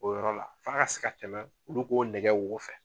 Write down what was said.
O yɔrɔ la, f'a ka se ka tɛmɛ olu k'o nɛgɛ wo fɛ.